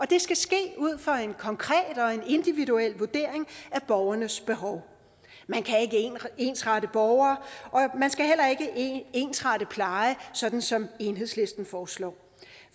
det skal ske ud fra en konkret og en individuel vurdering af borgernes behov man kan ikke ensrette borgere og man skal heller ikke ensrette pleje sådan som enhedslisten foreslår